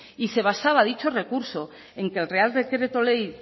y se basaba dicho recurso en que el real decreto ley